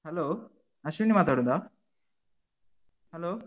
Hello Ashwini ಮಾತಾಡುದಾ? hello .